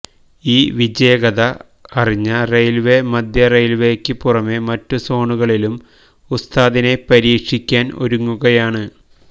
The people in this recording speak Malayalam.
ഈ വിജയകഥ അറിഞ്ഞ റെയിൽവേ മധ്യ റെയിൽവക്ക് പുറമെ മറ്റുസോണുകളിലും ഉസ്താദിനെ പരീക്ഷിക്കാൻ ഒരുങ്ങുകയാണ്